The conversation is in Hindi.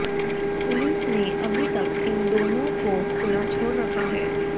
पुलिस ने अभी तक इन दोनों को खुला छोड़ रखा है